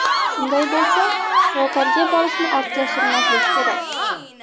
Shunday bo‘lsa, shifokorga borishni ortga surmaslik kerak.